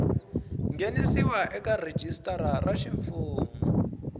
nghenisiwa eka rhijisitara ra ximfumu